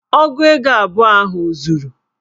Ogu ego abụọ ahụ o zuru?